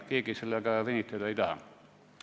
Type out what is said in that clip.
Keegi sellega venitada ei taha.